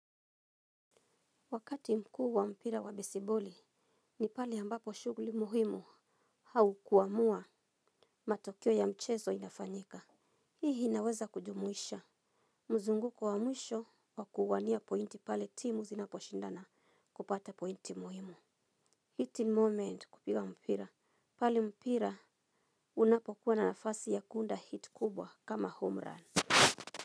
Wakati mkuu wa mpira wa besiboli ni pale ambapo shughuli muhimu au kuamua matokeo ya mchezo inafanyika hii inaweza kujumuisha muzunguko wa mwisho wa kuania pointi pale timu zinaposhindana kupata pointi muhimu. Hit ni moment kupiga mpira pale mpira unapokuwa na nafasi ya kuunda hit kubwa kama home run.